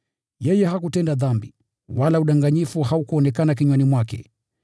“Yeye hakutenda dhambi, wala hila haikuonekana kinywani mwake.”